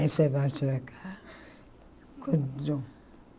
Essa é mais para cá.